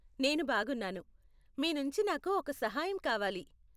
నేను బాగున్నాను. మీ నుంచి నాకు ఒక సహాయం కావాలి.